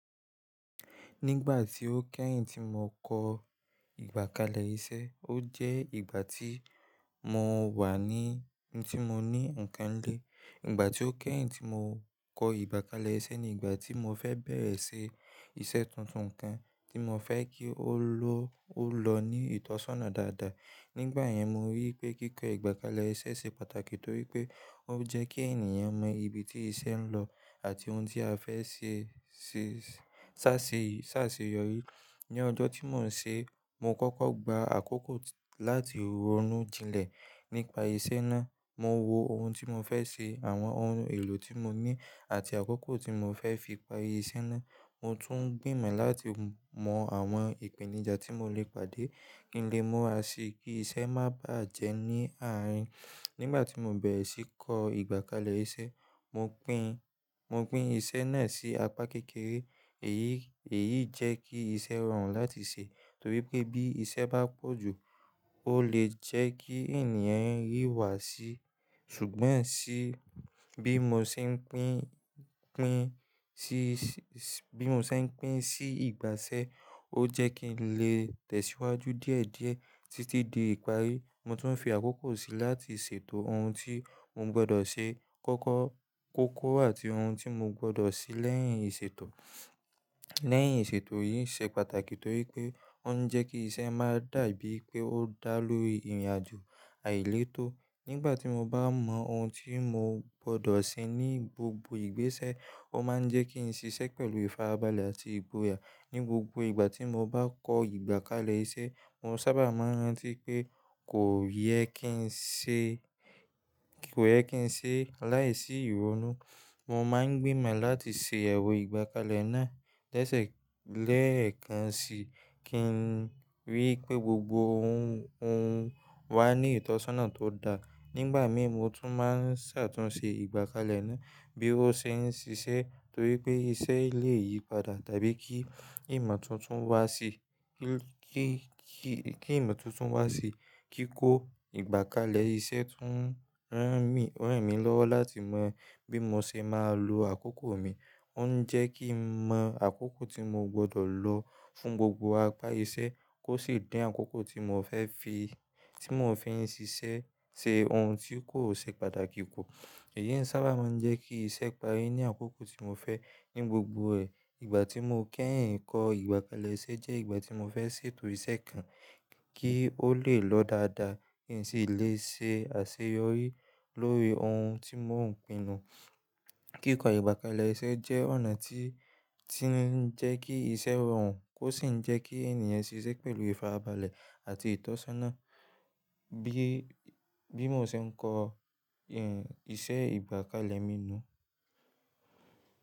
Nígbà tí ó kẹ́yìn tí mo kọ ìgbà kalẹ̀ iṣẹ́, ó jẹ́ ìgbà tí mo wà ní tí mo ní nǹkan lé. Ìgbà tí ó kẹ́yìn tí mo kọ ìgbà kalẹ̀ iṣẹ́ ni ìgbà tí mo fẹ́ bẹ̀rẹ̀ ṣe iṣẹ́ tuntun kan tí mo fẹ́ kí ó lọ, o ó lọ ní ìtọ́sọ́nà dáadáa. Nígbà yẹn, mo rí wipé kíkọ ìgbàkalẹ̀ iṣẹ́ ṣe pàtàkì torí pé ó jẹ́ kí ènìyàn mọ ibi tí iṣẹ́ ń lọ àti ohun tí a fẹ́ ṣẹ́ ṣàṣeyọ̀rí. Ní ọjọ́ tí mò ń ṣe, mo kọ́kọ́ gba àkókò láti ronú jinlẹ̀ nípa iṣẹ́ náà. Mo wo ohun tí mo fẹ́ ṣe, àwọn ohun èlò tí mo ní àti àkókò tí mo fẹ́ fi parí iṣẹ́ náà. Mo tún gbìmọ̀ láti mọ àwọn ìpèníjà tí mo le pàdé kí n lè muà sì kí iṣẹ́ má bájẹ́ ní àárín. Nígbà tí mo bẹ̀rẹ̀ sí í kọ ìgbàkalẹ̀ iṣẹ́, mo pín, mo pín iṣẹ́ náà sí apá kékeré. Èyí, èyí jẹ́ kí iṣẹ́ rọrùn láti ṣe torí pé bí iṣẹ́ bá pọ̀ jù ó lè jẹ́ kí ènìyàn ríwá sí. Ṣùgbọ́n ṣi bí mo ṣe ń pín, pín sí, bí mo ṣe ń pín sí ìgbàṣẹ́, ó jẹ́ kí n lè tẹ̀síwájú díẹ̀díẹ̀ títí di ìparí. Mo tún fi àkókò sí láti ṣètò ohun tí mo gbọdọ̀ ṣe kọ́kọ́, kókó àti ohun tí mo gbọdọ̀ ṣe lẹ́yìn ìṣètò. Lẹ́yìn ìṣètò yìí ṣe pàtàkì torí pé ó ń jẹ́ kí iṣẹ́ má dà bí pé ó dá lóri ìrìnàjò àìletọ́. Nígbà tí mo bá mọ ohun tí mo gbọdọ̀ ṣe ní gbogbo ìgbésẹ́, ó máa ń jẹ́ kí n ṣiṣẹ́ pẹ̀lú ìfarabalẹ̀ àti ìgbòyà. Ní gbogbo ìgbà tí mo bá kọ ìgbàkalẹ̀ iṣẹ́, mo sábà máa rántí pé kò yẹ kí n ṣe, kò yẹ kí n ṣe láìsí ìrónú. Mo máa ń gbìmọ̀ láti ṣe iyewo ìgbàkalẹ̀ náà lẹ́sẹ̀, lẹ́ẹ̀kan si kí n rí i pé gbogbo ohun, ohun wá ní ìtọ́sọ́nà tó dáa. Nígbà mìí, mo tún máa ṣàtúnṣe ìgbàkalẹ̀ náà bí ó ṣe ń ṣiṣẹ́ torí pé iṣẹ́ lè yípadà tàbí kí ìmọ̀ tuntun wá sí, kí, kí ìmọ̀ tuntun wá sí. Kíkó ìgbàkalẹ̀ iṣẹ́ tún ràn mí, ràn mí lọ́wọ́ láti mọ bí mo ṣe máa lo àkókò mi. Ó ń jẹ́ kí n mọ àkókò tí mo gbọdọ̀ lo fún gbogbo apá iṣẹ́ kó sì din àkókò tí mo fẹ́ fi, tí mo fẹ́ fi ń ṣiṣẹ́ ṣe ohun tí kò ṣe pàtàkì ku. Èyí ń sábà máa ń jẹ́ kí iṣẹ́ parí ní àkókò tí mo fẹ́ ní gbogbo ẹ̀. Ìgbà tí mo kẹ́yìn kọ ìgbàkalẹ̀ iṣẹ́ jẹ́ ìgbà tí mo fẹ́ ṣètò iṣẹ́ kan kí ó lè lọ dáadáa kí n sì lè ṣe àṣeyọrí lórí ohun tí mò ń pinnu. Kíkọ ìgbà kalẹ̀ iṣẹ́ jẹ́ ọ̀nà tí, tí ń jẹ́ kí iṣẹ́ rọrùn kó sì ń jẹ́ kí ènìyàn ṣiṣẹ́ pẹ̀lú ìfarabalẹ̀ àti ìtọ́sọ́nà. Bí, bí mo ṣe ń kọ ìṣe ìgbàkalẹ̀ mi nu.